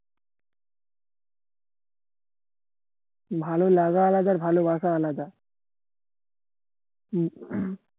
ভালো লাগা আলাদা আর ভালোবাসা আলাদা